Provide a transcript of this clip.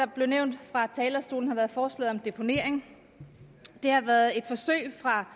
blev nævnt fra talerstolen var forslaget om deponering det har været et forsøg fra